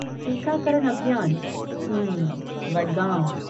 टीकाकरण अभियान, हम्म, वडगाँव।